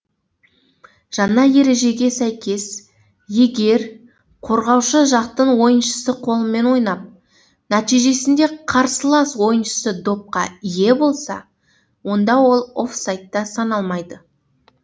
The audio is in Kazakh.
жаңа ережеге сәйкес егер қорғаушы жақтың ойыншысы қолымен ойнап нәтижесінде қарсылас ойыншысы допқа ие болса онда ол офсайдта саналмайды